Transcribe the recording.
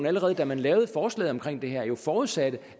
allerede da man lavede forslaget om det her forudsatte